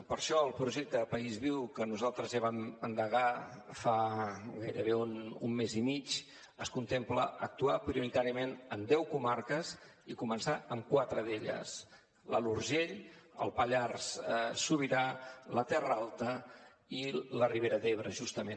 per això al projecte país viu que nosaltres ja vam endegar fa gairebé un mes i mig es contempla actuar prioritàriament en deu comarques i començar amb quatre d’elles l’alt urgell el pallars sobirà la terra alta i la ribera d’ebre justament